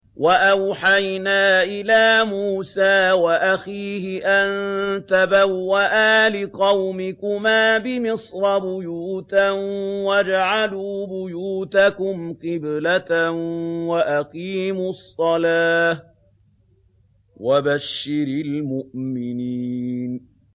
وَأَوْحَيْنَا إِلَىٰ مُوسَىٰ وَأَخِيهِ أَن تَبَوَّآ لِقَوْمِكُمَا بِمِصْرَ بُيُوتًا وَاجْعَلُوا بُيُوتَكُمْ قِبْلَةً وَأَقِيمُوا الصَّلَاةَ ۗ وَبَشِّرِ الْمُؤْمِنِينَ